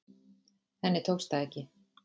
Henni tókst það ekki.